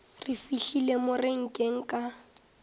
re fihlile mo renkeng ka